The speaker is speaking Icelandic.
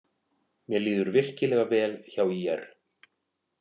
Mér líður virkilega vel hjá ÍR.